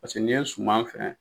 Paseke n'i ye suman fɛn